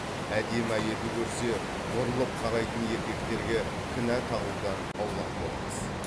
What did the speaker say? әдемі әйелді көрсе бұрылып қарайтын еркектерге кінә тағудан аулақ болыңыз